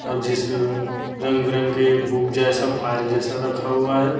और जिस पर रंग बिरंगे बुक जैसा फाइल जैसा रखा हुआ है।